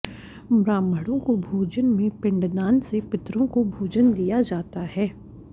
ब्राह्मणों को भोजन में पिंडदान से पितरों को भोजन दिया जाता है